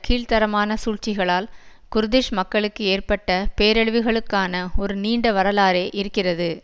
கீழ்தரமான சூழ்ச்சிகளால் குர்திஷ் மக்களுக்கு ஏற்பட்ட பேரழிவுகளுக்கான ஒரு நீண்ட வரலாறே இருக்கிறது